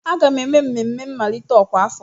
Aga m eme mmemme mmalite ọkwa afọ m.